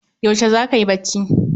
Yaushe zaka yi bacci?